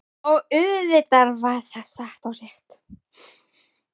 Og auðvitað var það satt og rétt.